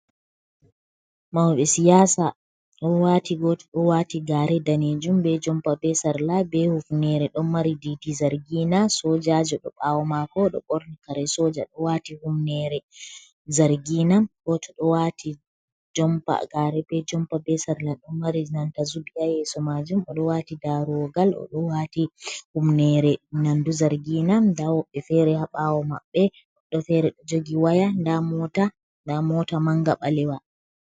Mauɓe siyasa ɗo wati goto ɗo wati gare danejum be jompa, be sarla, be hufnere, ɗon mari ɗiɗi zargina sojajo ɗo ɓawo mako ɗo ɓorni kare soja ɗo wati humnere zargina, goto ɗo wati jompa, gare, be jompa, be sarla ɗon mari nanta zubi ha yeso majum, o ɗo wati daruwogal oɗo wati humnere nandu zargina nda woɓɓe fere ha ɓawo maɓɓe goɗɗo fere ɗo jogi waya nda mota nda mota manga ɓalewa.